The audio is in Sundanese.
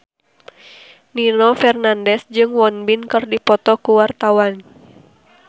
Nino Fernandez jeung Won Bin keur dipoto ku wartawan